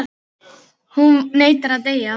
Hún neitar að deyja.